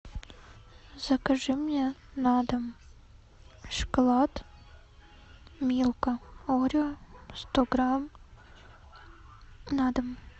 закажи мне на дом шоколад милка орео сто грамм на дом